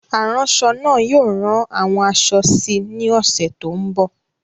Aránṣọ náà yóò rán àwọn aṣọ síi ní ọ̀sẹ̀ tó ń bọ̀.